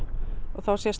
þá